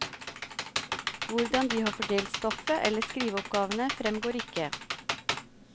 Hvordan de har fordelt stoffet eller skriveoppgavene, fremgår ikke.